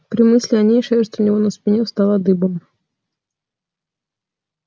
при мысли о ней шерсть у него на спине встала дыбом